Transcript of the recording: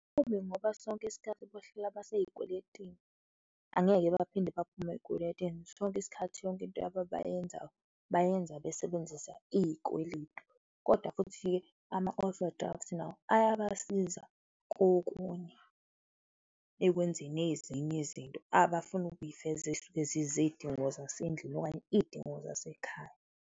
Kubi ngoba sonke isikhathi bahlala baseyikweletini, angeke baphinde baphume ezikweletini, sonke isikhathi, yonke into yabo abayenzayo bayenza besebenzisa izikweledu. Kodwa futhi-ke, ama-overdraft nawo ayabasiza kokunye ekwenzeni ezinye izinto abafuna ukuyifeza ezisuke ziyizidingo zasendlini okanye izidingo zasekhaya.